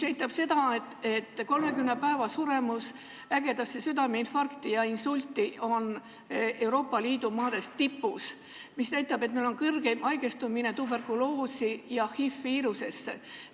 Ägeda südameinfarkti ja insuldi järgne 30 päeva jooksul suremus on meil Euroopa Liidu tipus, ka on meil suurim haigestumine tuberkuloosi ja HI-viirusega nakatumine.